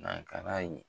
Nakala ye